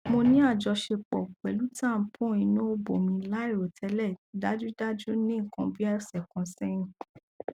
mo ni ajọṣepọ pẹlu tampon inu obo mi lairotẹlẹ dajudaju ni nkan bi ọsẹ kan sẹhin